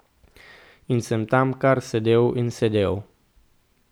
In sem tam kar sedel in sedel.